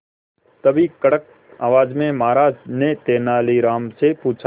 तभी कड़क आवाज में महाराज ने तेनालीराम से पूछा